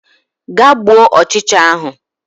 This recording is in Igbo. Gaa gbuo ọchịcha ahụ